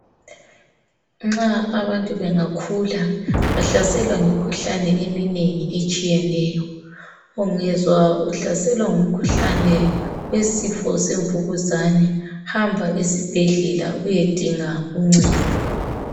Nxa abantu bengakhula bahlaselwa yimikhuhlane eminengi etshiyeneyo ungezwa uhlaselwa ngumkhuhlane wesifo semvukuzane hamba esibhedlela uyedinga uncedo.